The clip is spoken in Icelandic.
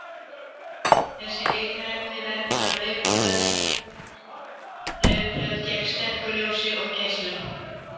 Þessi litarefni vernda laufblöð gegn sterku ljósi og geislun.